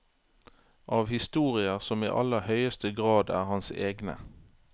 Av historier som i aller høyeste grad er hans egne.